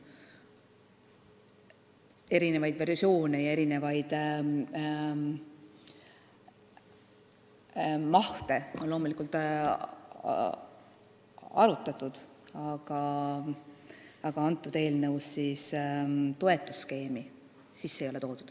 Erinevaid versioone ja erinevaid mahte on loomulikult arutatud, aga selles eelnõus toetusskeemi sisse ei ole toodud.